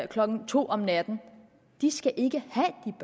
klokken to om natten de skal ikke